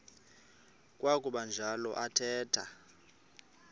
kwakuba njalo athetha